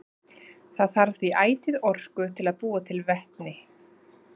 Það þarf því ætíð orku til að búa til vetni.